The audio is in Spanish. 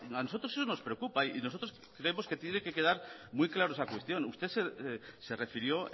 a nosotros sí nos preocupa y nosotros creemos que tiene que quedar muy clara esa cuestión usted se refirió